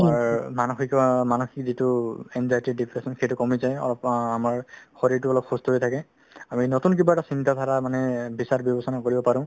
আমাৰ মানসিক অ মানসিক যিটো anxiety ,depression সেইটো কমি যায় অলপ আ~ আমাৰ শৰীৰতো অলপ সুস্থ হৈ থাকে আমি নতুন কিবা এটা চিন্তাধাৰা মানে বিচাৰ-বিবেচনা কৰিব পাৰো